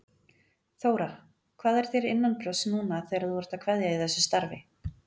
Þóra: Hvað er þér innanbrjósts núna þegar þú ert að kveðja í þessu starfi?